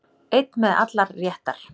Einn með allar réttar